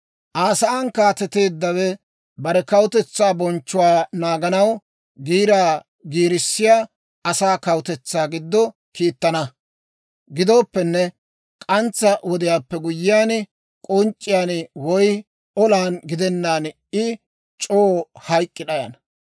«Aa sa'aan kaateteeddawe bare kawutetsaa bonchchuwaa naaganaw giiraa giirissiyaa asaa kawutetsaa giddo kiittana. Gidooppenne, k'antsa wodiyaappe guyyiyaan, k'onc'c'iyaan woy olan gidennaan I c'oo hayk'k'i d'ayana.